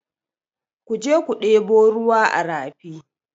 Ku je ku ɗebo ruwa a rafi!